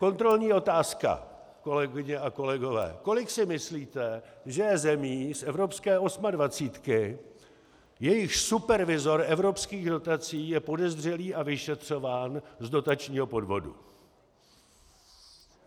Kontrolní otázka, kolegyně a kolegové: Kolik si myslíte, že je zemí z evropské osmadvacítky, jejichž supervizor evropských dotací je podezřelý a vyšetřován z dotačního podvodu?